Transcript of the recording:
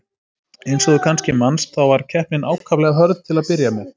Eins og þú kannski manst, þá var keppnin ákaflega hörð til að byrja með.